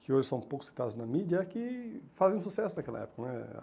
que hoje são poucos citados na mídia, é que fazem sucesso naquela época, né?